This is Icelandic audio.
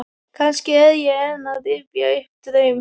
Kannski er ég enn að rifja upp draum.